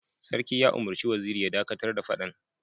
Sarki ya umurci Waziri ya dakatar da fadan!